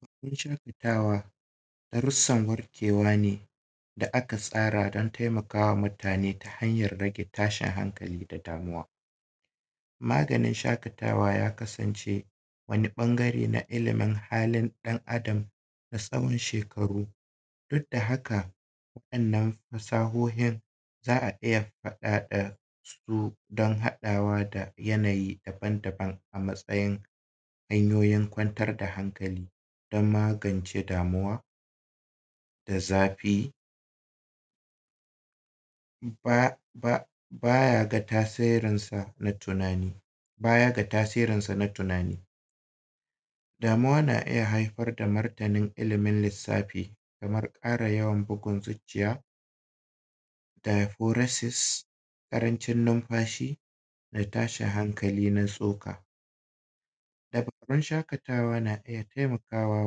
Hanyoyin shaƙatawa darussan warkewa ne da aka tsara don taimakawa mutane ta hanyar tashin hankali da damuwa. Maganin shaƙatawa ya kasance wani ɓangare na ilimi halin ɗan-adam na tsawon shekaru. Duk da haka waɗannan fasahohin za a iya faɗaɗasu don haɗawa da yanayi daban-daban a matsayin hanyoyin kwantar da hankali don magance damuwa, da zafi, ba ba ba ya ga tasirin san a tunani, baya ga tasirinsa na tunani. Damuwa na iya haifar da martanin ilimin lissafi, kamar ƙara yawan bugun zucciya, diahurasis, ƙarancin numfashi, da tashin hankali na tsoka. Dabarun shaƙatawa na iya taimakawa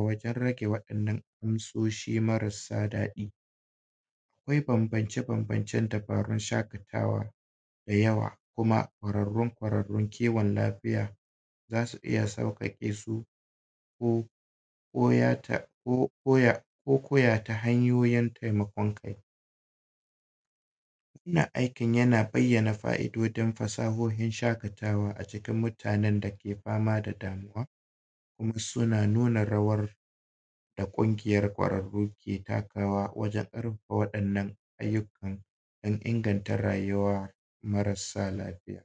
wajen rage wa’innan amsoshi marasa daɗi. Akwai bambance-bambancen dabarun shaƙatawa dayawa, kuma ƙwararrun-ƙwararrun kiwon lafiya za su iya sauƙaƙesu ko ko ya ta, ko koya ta hanyoyin taimakon kai. Wannan aikin yana bayyana fa’idodin, fasahohin shaƙatawa acikin mutanen dake fama da damuwa, kuma suna nuna rawar da ƙungiyar ƙwararru ke takawa wajen raba waɗannan ayyukan don inganta rayuwa marasa lafiya.